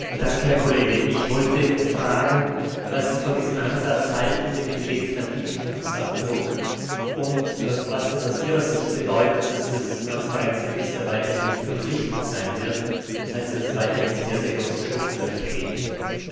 Frau Präsidentin! Herr Kollege, ich wollte fragen, was Sie von dem Ansatz mit dem legislativen Fußabdruck halten und was es aus Ihrer Sicht bedeutet, dass das Transparenzregister weiterhin nicht verpflichtend sein wird, das heißt, dass es weiterhin sehr große Schlupflöcher geben wird.